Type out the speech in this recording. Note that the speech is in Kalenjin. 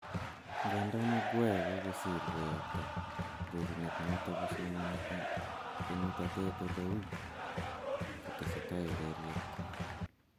Ngandan Maguire kogosir koyakta rorunet noton kosomoni en utatet ole uu kotesetai ureriet.